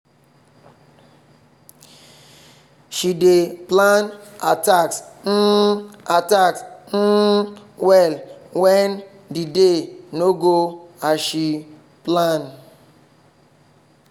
she dey plan her task um her task um well when the day no go as she plan.